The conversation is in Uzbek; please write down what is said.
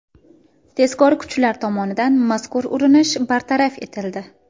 Tezkor kuchlar tomonidan mazkur urinish bartaraf etildi.